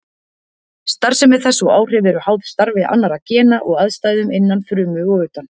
Starfsemi þess og áhrif eru háð starfi annarra gena og aðstæðum innan frumu og utan.